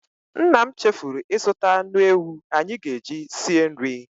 Nna m chefuru ịzụta anụ ewu anyị ga-eji sie nri.